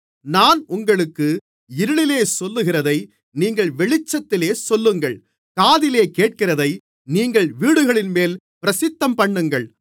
நான் உங்களுக்கு இருளிலே சொல்லுகிறதை நீங்கள் வெளிச்சத்திலே சொல்லுங்கள் காதிலே கேட்கிறதை நீங்கள் வீடுகளின்மேல் பிரசித்தம்பண்ணுங்கள்